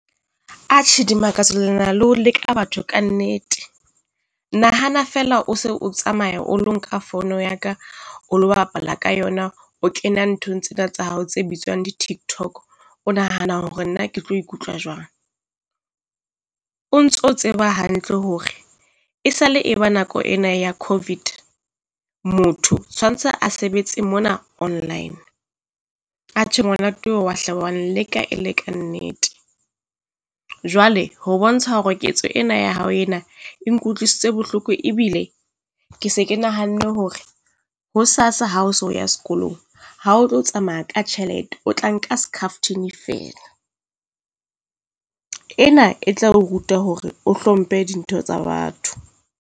Atjhe, Dimakatso le na le ho leka batho kannete, nahana feela o se o tsamaya o lo nka fono ya ka, o lo bapala ka yona, o Kena nthong tsena tsa hao tse bitswang di tiktok. O nahana hore nna ke tlo ikutlwa jwang? O ntso tseba hantle hore e sa le e ba nako ena ya COVID, motho tshwantse a sebetse mona online, atjhe ngwana ke wa hle wa nleka e le kannete. Jwale ho bontsha hore ketso ena ya hao ena e nkutlwisitse bohloko, ebile ke se ke nahanne hore hosasa ha o so ya sekolong, ha o tlo tsamaya ka tjhelete. O tla nka skhafthini feela, ena e tla o ruta hore o hlomphe dintho tsa batho.